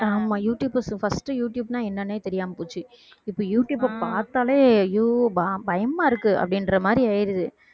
ஆமா youtubers first யூடுயூப்னா என்னன்னே தெரியாம போச்சு இப்ப யூடுயூப பார்த்தாலே ஐயோ ப~ பயமாயிருக்கு அப்படின்ற மாதிரி ஆயிடுது